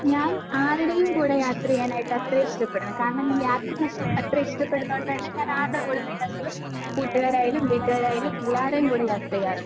ഞാൻ ആരുടെയും കൂടെ യാത്ര ചെയ്യാൻ അത്ര ഇഷ്ടപ്പെടില്ല. കാരണം ഞാൻ യാത്ര അത്ര ഇഷ്ടപ്പെടുന്നതോണ്ട് തന്നെ ഞാൻ ആരുടെ കൂടെ വേണേലും കൂട്ടുകാരായാലും വീട്ടുകാരായാലും എല്ലാരേം കൂടെ യാത്ര ചെയ്യാറുണ്ട്.